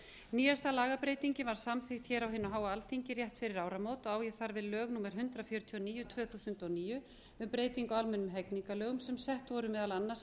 nýjasta lagabreytingin var samþykkt hér á hinu háa alþingi rétt fyrir áramót og ég þar við lög númer hundrað fjörutíu og níu tvö þúsund og níu um breytingu á almennum ehgingarlögum sem sett voru meðal annars